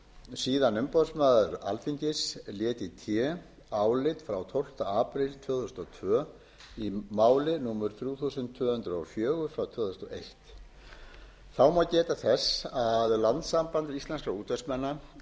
síðan umboðsmaður alþingis lét í té álit frá tólfta apríl tvö þúsund og tvö í máli númer þrjú þúsund tvö hundruð og fjögur tvö þúsund og eitt þá má geta þess að landssamband íslenskra útvegsmanna lagði